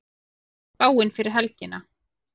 hvernig er spáin fyrir helgina